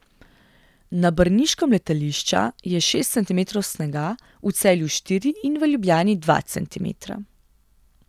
Na brniškem letališča je šest centimetrov snega, v Celju štiri in v Ljubljani dva centimetra.